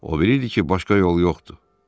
O bilirdi ki, başqa yol yoxdur.